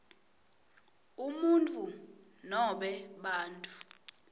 umuntfu nobe bantfu